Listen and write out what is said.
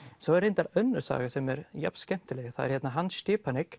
svo er reyndar önnur saga sem er jafn skemmtileg það er Hans